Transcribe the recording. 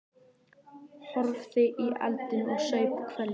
Horfði í eldinn og saup hveljur.